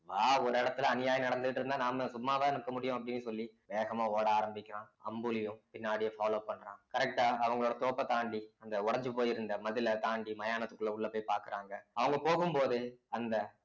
வா ஒரு இடத்துல அநியாயம் நடந்துட்டு இருந்தா நாம சும்மாவா நிக்க முடியும் அப்படின்னு சொல்லி வேகமா ஓட ஆரம்பிக்கிறான் அம்புலியும் பின்னாடியே follow பண்றான் correct ஆ அவங்களோட தோப்பத் தாண்டி அந்த உடைஞ்சு போயிருந்த மதிலை தாண்டி மயானத்துக்குள்ள உள்ள போய் பாக்குறாங்க அவங்க போகும் போது அந்த